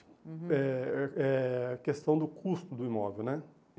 Uhum. É, é a questão do custo do imóvel, né?